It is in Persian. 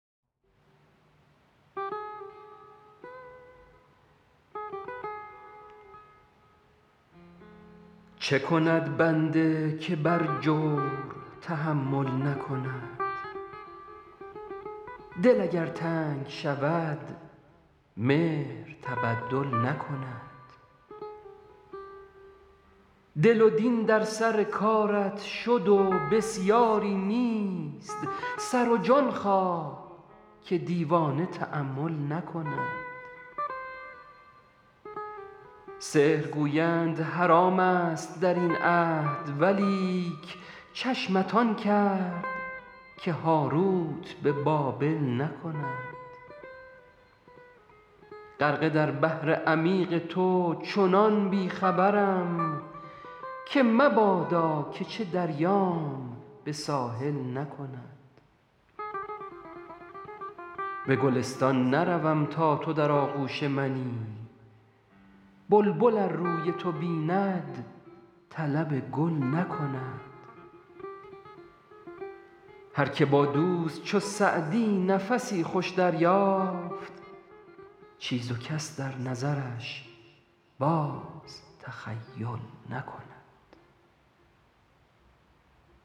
چه کند بنده که بر جور تحمل نکند دل اگر تنگ شود مهر تبدل نکند دل و دین در سر کارت شد و بسیاری نیست سر و جان خواه که دیوانه تأمل نکند سحر گویند حرام ست در این عهد ولیک چشمت آن کرد که هاروت به بابل نکند غرقه در بحر عمیق تو چنان بی خبرم که مبادا که چه دریام به ساحل نکند به گلستان نروم تا تو در آغوش منی بلبل ار روی تو بیند طلب گل نکند هر که با دوست چو سعدی نفسی خوش دریافت چیز و کس در نظرش باز تخیل نکند